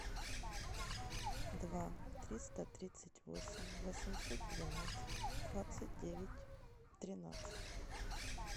два триста тридцать восемь восемьсот двенадцать двадцать девять тринадцать